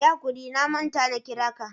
Yi hakuri na manta na kira ka.